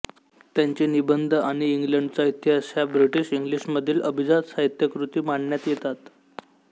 त्यांचे निबंध आणि इंग्लंडचा इतिहास ह्या ब्रिटिश इंग्लिशमधील अभिजात साहित्यकृती मानण्यात येतात